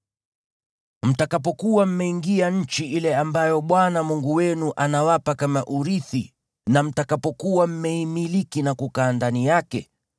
Mtakapokuwa mmeingia nchi ile ambayo Bwana Mungu wenu anawapa kama urithi na mtakapokuwa mmeimiliki na kukaa ndani yake,